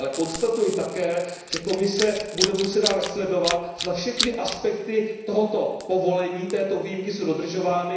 Ale konstatuji také, že Komise bude muset dále sledovat, zda všechny aspekty tohoto povolení, této výjimky jsou dodržovány.